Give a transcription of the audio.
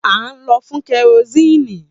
A n lo fún kerosínnì